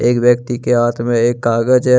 एक व्यक्ति के हाथ में एक कागज है।